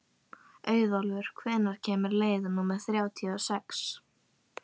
Auðólfur, hvenær kemur leið númer þrjátíu og sex?